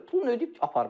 Pulu ödəyib aparmışıq.